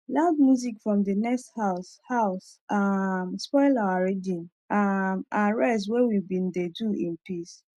loud music from the next house house um spoil our reading um and rest wey we bin dey do in peace